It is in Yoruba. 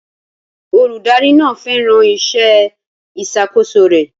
Olùdarí náà fẹ́ràn iṣẹ́ ìṣàkóso rẹ̀.